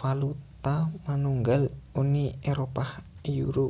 valuta manunggal Uni Éropah Euro